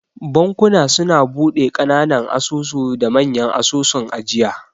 Bankuna suna bude kananan asusu da manya asusun ajiya.